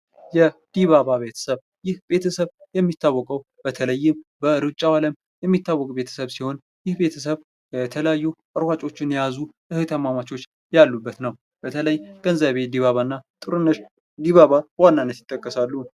የዲባባ ቤተሰብ፡- ይህ ቤተሰብ የሚታወቀው በተለይም በሩጫው ዓለም የሚታወቅ ቤተሰብ ሲሆን ፤ ይህ ቤተሰብ የተለያዩ ራጮችን የያዙ እህትማማቾች ያሉበት ነው። በተለይም ገንዘቤ ዲባባና ጥሩነሽ ዲባባ በዋናነት ይጠቀሳሉ።